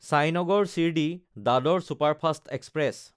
Sainagar শিৰদী–দাদৰ superfast express